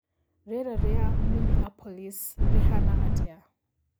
rĩera rĩa Minneapolis rĩhana atĩa